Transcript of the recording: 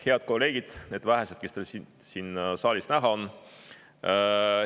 Head kolleegid, need vähesed, kes siin saalis näha on!